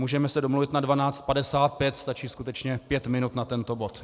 Můžeme se domluvit na 12.55, stačí skutečně pět minut na tento bod.